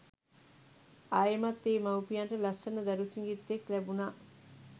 ආයෙමත් ඒ මව්පියන්ට ලස්සන දරු සිඟිත්තෙක් ලැබුනා.